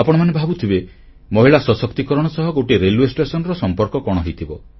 ଆପଣମାନେ ଭାବୁଥିବେ ମହିଳା ସଶକ୍ତିକରଣ ସହ ଗୋଟିଏ ରେଲୱେ ଷ୍ଟେସନର ସମ୍ପର୍କ କଣ ହୋଇଥିବ